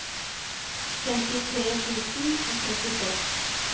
femtitre tusen og trettiseks